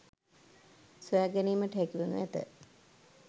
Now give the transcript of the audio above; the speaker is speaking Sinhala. සොයා ගැනීමට හැකිවනු ඇත